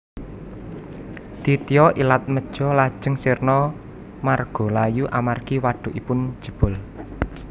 Ditya Ilatmeja lajeng sirna margalayu amargi wadhukipun jebol